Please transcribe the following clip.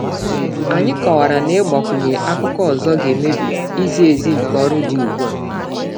Anyị kọwara na ịgbakwunye akụkọ ọzọ ga-emebi izi ezi nke ọrụ dị ugbu a.